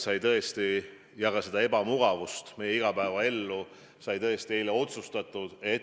Ja neid piiranguid, seda ebamugavust meie igapäevaellu tõesti tuleb, nagu eile otsustatud sai.